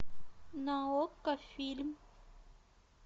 на окко фильм